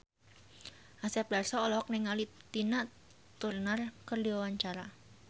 Asep Darso olohok ningali Tina Turner keur diwawancara